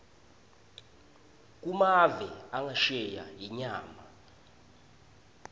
kumave angesheya inyama